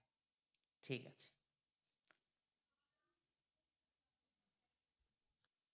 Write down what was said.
ঠিক আছে